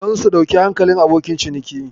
Don su ɗau hankalin abokan ciniki.